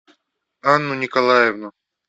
анну николаевну